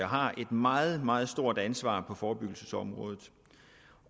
har et meget meget stort ansvar på forebyggelsesområdet